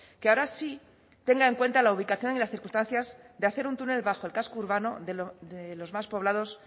que ahora sí tenga en cuenta la ubicación y las circunstancias de hacer un túnel bajo el casco urbano de los más poblados